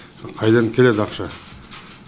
қайдан келеді ақша